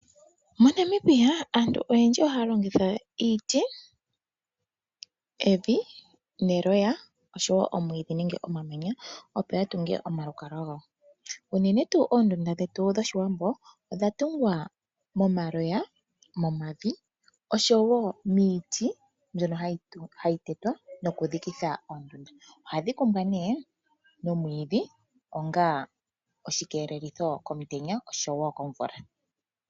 Monamibia aantu oyendji ohaya longitha iiti ,evi, eloya oshowo omwiidhi nenge omamanya opo yatunge omalukalwa gawo . Unene tuu oondunda dhetu dhoshiwambo odhatungwa momaloya ,momavi oshowo miiti mbyono hayi tetwa noku dhikitha ondunda .Ohadhi kumbwa nee nomwiidhi onga oshi keelelitho komutenya oshowo komvula.